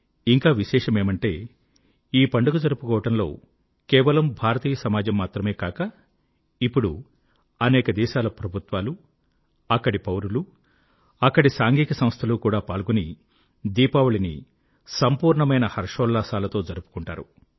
ఇంకా విశేషమేమంటే ఈ పండుగ జరుపుకోవడంలో కేవలం భారతీయ సమాజం మాత్రమే కాక ఇప్పుడు అనేక దేశాల ప్రభుత్వాలు అక్కడి పౌరులు అక్కడి సాంఘిక సంస్థలు కూడా పాల్గొని దీపావళిని సంపూర్ణమైన హర్షోల్లాసాలతో జరుపుకుంటారు